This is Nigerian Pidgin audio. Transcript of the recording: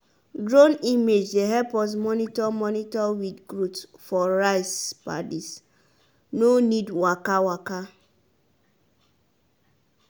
drone image dey help us monitor monitor weed growth for rice paddies no need waka waka.